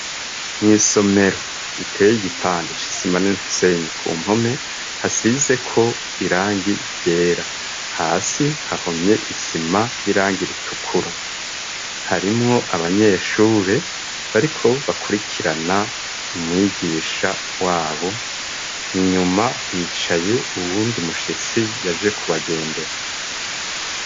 Mw' isomero riteye igipande c'isima n'imisenyi ku mpome, hasizeko irangi ryera. Hasi hahomye isima y'irangi ritukura. Harimwo abanyeshure bariko bakurikirana umwigisha wabo, inyuma hicaye uwundi mushitsi yaje kubagendera.